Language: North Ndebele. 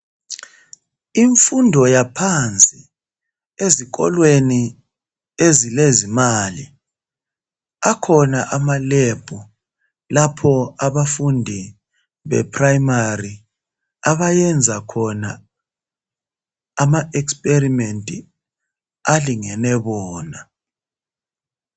Imfundo yaphansi ezikolweni ezilezimali akhona ama"lab" lapho abafundi be"primary" abayenza khona ama "experiment" alingene bona.